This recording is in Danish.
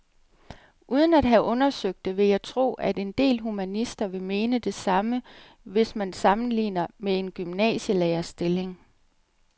Uden at have undersøgt det vil jeg tro, at en del humanister vil mene det samme, hvis man sammenligner med en gymnasielærerstilling.